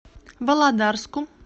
володарску